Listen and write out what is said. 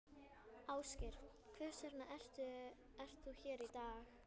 Ásgeir: Hvers vegna ert þú hér í dag?